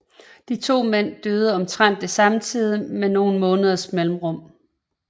De to mænd døde omtrentlig samtidig med nogen måneders mellemrum